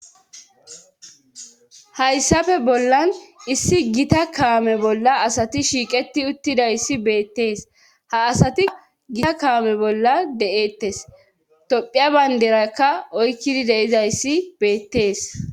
Hayssafe bollan issi gita kaame bolla asati shiiqeti uttidayssi beettees ha asati gita kaame bolla de7ettes tophiya baynderakka oykkidi deizayssi beettees.